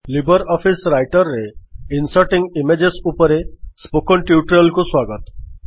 Libre office Writer ରେ inserting images ଉପରେ spoken tutorial ରେ ଆପଣଙ୍କୁ ସ୍ୱାଗତ